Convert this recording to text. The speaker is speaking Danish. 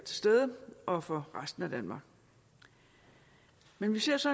og for resten af danmark men vi ser så